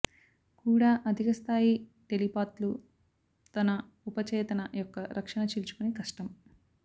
కూడా అధిక స్థాయి టెలిపాత్లు తన ఉపచేతన యొక్క రక్షణ చీల్చుకొని కష్టం